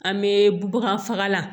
An bɛ bagan faga